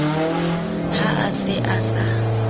ha a se a sa